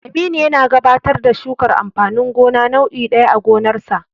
Aminu yana gabatar da shukar amfanin gona nau'i ɗaya a gonarsa.